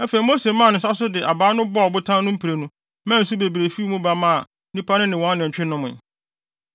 Afei Mose maa ne nsa so de abaa no bɔɔ ɔbotan no mprenu maa nsu bebree fii mu ba maa nnipa no ne wɔn anantwi nomee.